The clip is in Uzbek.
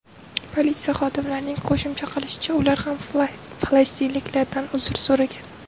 Politsiya xodimlarining qo‘shimcha qilishicha, ular ham falastinlikdan uzr so‘ragan.